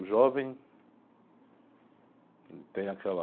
O jovem tem aquela...